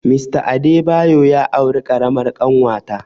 Mr Adebayo ya auri ƙaramar ƙanwata